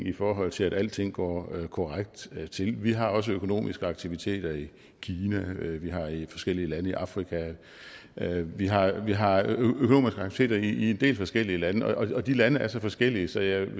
i forhold til at alting går korrekt til til vi har også økonomiske aktiviteter i kina og vi har i forskellige lande i afrika vi har vi har økonomiske aktiviteter i en del forskellige lande og de lande er så forskellige så jeg vil